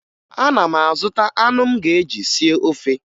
Ana m azụta anụ m ga-eji sie ofe